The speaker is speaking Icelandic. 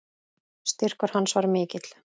Styrkur hans var mikill.